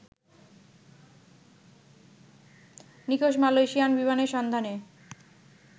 নিখোঁজ মালয়েশিয়ান বিমানের সন্ধানে